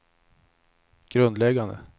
grundläggande